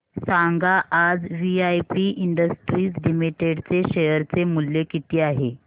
सांगा आज VIP industries limited चे शेअर चे मूल्य किती आहे